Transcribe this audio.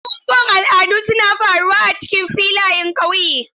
Abubuwan al'adu suna faruwa a cikin filayen ƙauye.